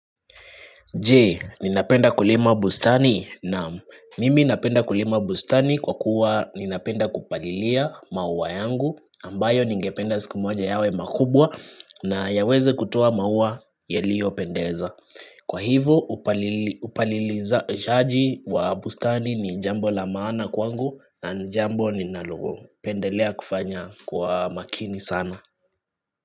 Jee, ninapenda kulima bustani naam mimi napenda kulima bustani kwa kuwa ninapenda kupalilia maua yangu ambayo ningependa siku moja yawe makubwa na yaweze kutoa maua yaliyopendeza. Kwa hivo upaliliza shaji wa bustani ni jambo la maana kwangu na jambo ninalo. Pendelea kufanya kwa makini sana.